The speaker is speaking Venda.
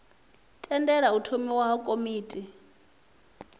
tendela u tholiwa ha komiti